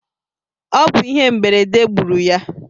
O bu ihe mberede gburu ya